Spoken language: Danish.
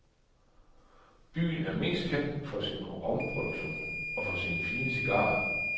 Byen er mest kendt for sin romproduktion og for sine fine cigarer.